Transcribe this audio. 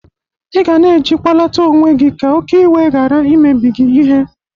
Ị ga na-ejikwalata onwe gị ka oke iwe gara imebiri gị ihe.